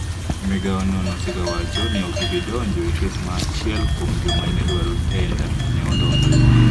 Migao no ne osegawacho ni ok gibi donjo e kes ma achiel kuom joma ne dwaro tenda ne odonjo.